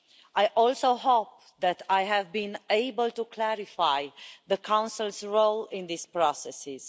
I also hope that I have been able to clarify the Council's role in these processes.